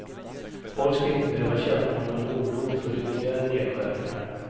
Folk ska inte behöva känna någon oro för ytterligare nedskärningar.